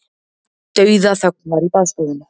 Dauðaþögn var í baðstofunni.